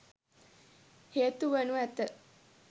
හේතු වනු ඇත.